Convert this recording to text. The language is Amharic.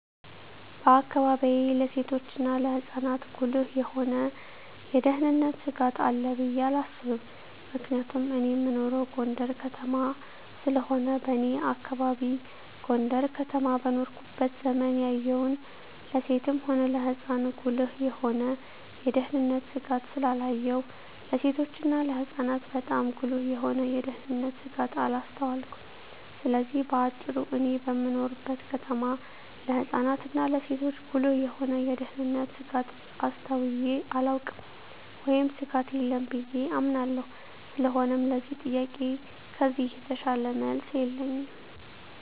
በአካባቢየ ለሴቶችና ለህጻናት ጉልህ የሆነ የደህንነት ስጋት አለ ብየ አላስብም ምክንያቱም እኔ እምኖረው ጎንደር ከተማ ስለሆነ በኔ አካባቢ ጎንደር ከተማ በኖርኩበት ዘመን ያየሁን ለሴትም ሆነ ለህጻን ጉልህ የሆነ የደህንነት ስጋት ስላላየሁ ለሴቶችና ለህጻናት ባጣም ጉልህ የሆነ የደንነት ስጋት አላስተዋልኩም ስለዚህ በአጭሩ እኔ በምኖርበት ከተማ ለህጻናት እና ለሴቶች ጉልህ የሆነ የደህንነት ስጋት አስተውየ አላውቅም ወይም ስጋት የለም ብየ አምናለሁ ስለሆነም ለዚህ ጥያቄ ከዚህ የተሻለ መልስ የለኝም።